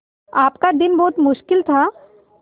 आपका दिन बहुत मुश्किल था